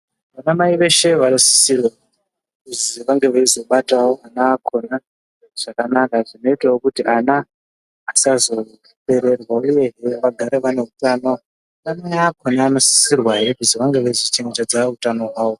Vana mai veshe vanosisirwa kuzi vanga veizobatawo ana akhona zvakanaka kuti ana akhona asazopererwa uyehe vagare vane utano vana mai akhona anosisirwahe kuzi vange veizochenjedze utano hwawo.